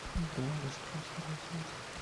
играй раскраски для взрослых